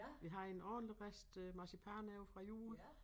Vi har en ordentlig rest øh marcipan ovre fra jul